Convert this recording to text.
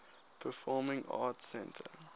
performing arts center